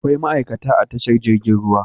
Akwai ma'ikata a tashar jirgin ruwa